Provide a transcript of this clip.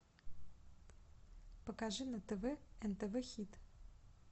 покажи на тв нтв хит